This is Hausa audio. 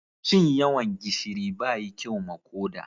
Cin yawan gishiri ba yi kyau ma koda.